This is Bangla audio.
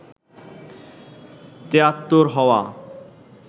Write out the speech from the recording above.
তিয়াত্তর হওয়া